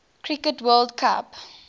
cricket world cup